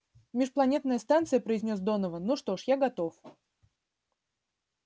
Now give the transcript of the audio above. межпланетная станция произнёс донован ну что ж я готов